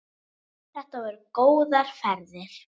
Þetta voru góðar ferðir.